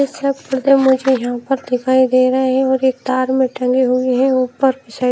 मुझे यहाँ पर दिखाई दे रही है और एक तार में टंगे हुए है ऊपर सा --